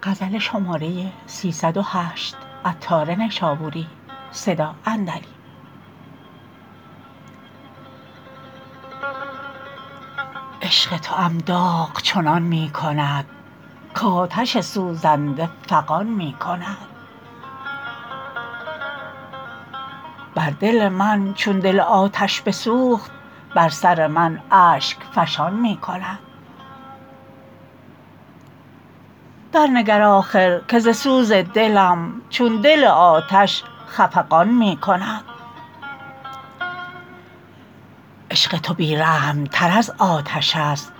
عشق توام داغ چنان می کند کآتش سوزنده فغان می کند بر دل من چون دل آتش بسوخت بر سر من اشک فشان می کند درنگر آخر که ز سوز دلم چون دل آتش خفقان می کند عشق تو بی رحم تر از آتش است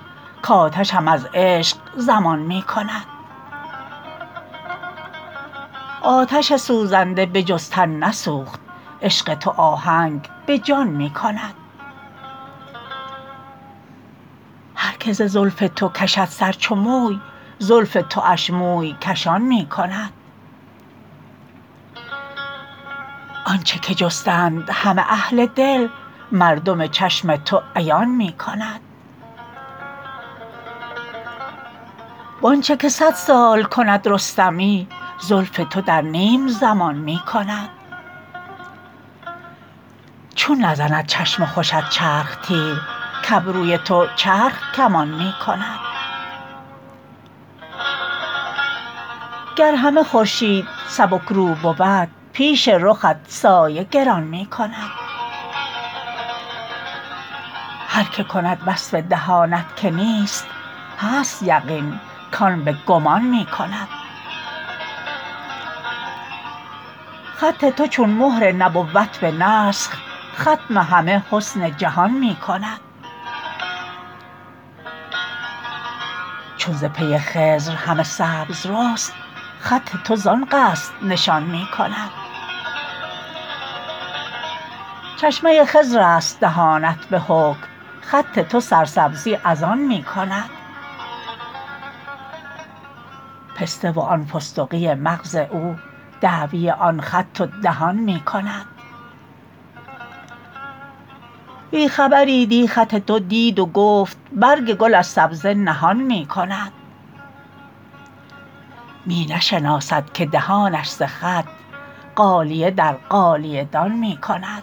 کآتشم از عشق ضمان می کند آتش سوزنده به جز تن نسوخت عشق تو آهنگ به جان می کند هر که ز زلف تو کشد سر چو موی زلف تواش موی کشان می کند آنچه که جستند همه اهل دل مردم چشم تو عیان می کند وآنچه که صد سال کند رستمی زلف تو در نیم زمان می کند چون نزند چشم خوشت تیر چرخ کابروی تو چرخ کمان می کند گر همه خورشید سبک رو بود پیش رخت سایه گران میکند هر که کند وصف دهانت که نیست هست یقین کان به گمان می کند خط تو چون مهر نبوت به نسخ ختم همه حسن جهان می کند چون ز پی خضر همه سبز رست خط تو زان قصد نشان می کند چشمه خضر است دهانت به حکم خط تو سرسبزی از آن می کند پسته وآن فستقی مغز او دعوی آن خط و دهان می کند بی خبری دی خط تو دید و گفت برگ گل از سبزه نهان می کند می نشناسد که دهانش ز خط غالیه در غالیه دان می کند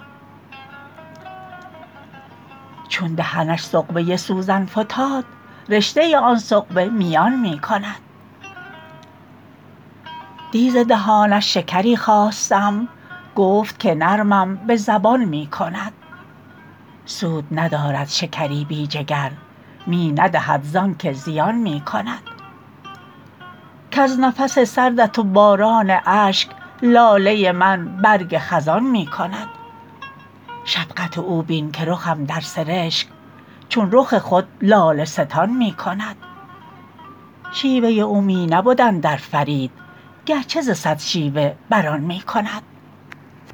چون دهنش ثقبه سوزن فتاد رشته آن ثقبه میان می کند دی ز دهانش شکری خواستم گفت که نرمم به زبان می کند سود ندارد شکری بی جگر می ندهد زانکه زیان می کند کز نفس سردت و باران اشک لاله من برگ خزان می کند شفقت او بین که رخم در سرشک چون رخ خود لاله ستان می کند شیوه او می نبد اندر فرید گرچه ز صد شیوه برآن می کند